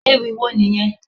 Ewì wo nìyẹn?